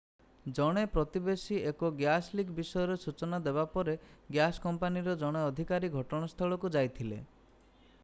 ଜଣେ ପ୍ରତିବେଶୀ ଏକ ଗ୍ୟାସ୍ ଲିକ୍ ବିଷୟରେ ସୂଚନା ଦେବା ପରେ ଗ୍ୟାସ୍ କମ୍ପାନୀର ଜଣେ ଅଧିକାରୀ ଘଟଣାସ୍ଥଳକୁ ଯାଇଥିଲେ